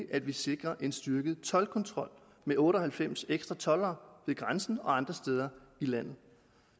at vi sikrer en styrket toldkontrol med otte og halvfems ekstra toldere ved grænsen og andre steder i landet